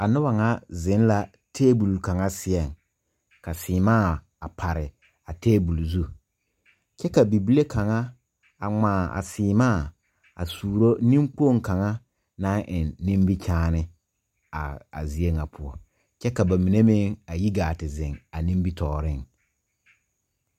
A noba ŋa zeŋ la tabole kaŋa seɛ ka sèèmaa pare a tabole zu kyɛ ka bible kaŋa a ngmaa a sèèmaa a suuro neŋkpoŋ kaŋa naŋ eŋ nimikyaane a a zie ŋa poɔ kyɛ ka ba mine meŋ a yi gaa te zeŋ a nimitooreŋ.